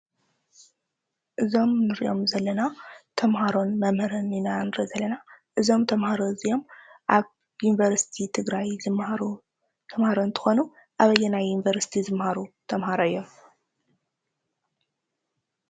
እዞም ንሪኦም ዘለና ተመሃሮን መምህርን ኢና ንርኢ ዘለና፡፡ እዞም ተመሃሮ እዚኦም ኣብ ዩኒቨርስቲ ትግራይ ዝመሃሩ ተመሃሮ እንትኾኑ ኣበየናይ ዩኒቨርስቲ ዝመሃሩ ተመሃሮ እዮም?